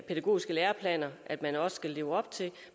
pædagogiske læreplaner